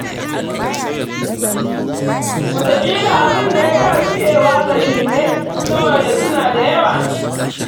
Wataƙila abin da ya sa suke watsa shirme, saboda suna da yawa.